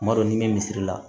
Kuma dɔ ni bɛ misiri la